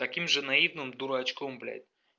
таким же наивным дурачком блядь